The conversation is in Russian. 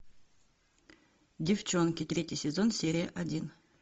девчонки третий сезон серия один